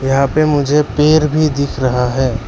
यहां पे मुझे पेड़ भी दिख रहा है।